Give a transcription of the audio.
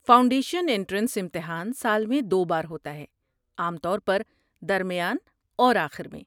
Foundation entrance امتحان سال میں دو بار ہوتا ہے، عام طور پر درمیان اور آخر میں۔